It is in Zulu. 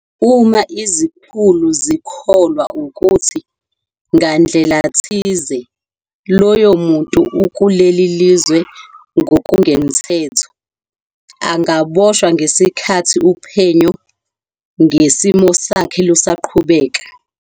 Uma izikhulu zikholwa ukuthi, ngandlela thize, loyo muntu ukuleli lizwe ngokungemthetho, angaboshwa ngesikhathi uphenyo ngesimo sakhe lusaqhubeka.